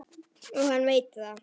Og hann veit það.